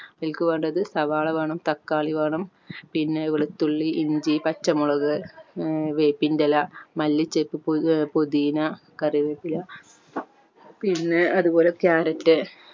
അതിക് വേണ്ടത് സവാള വേണം തക്കാളി വേണം പിന്നെ വെളുത്തുള്ളി ഇഞ്ചി പച്ചമുളക് ഏർ വേപ്പിൻ്റെ ഇല മല്ലിച്ചപ്പ് പു ഹും പുതീന കറിവേപ്പില പിന്നെ അതുപോലെ ക്യാരറ്റ്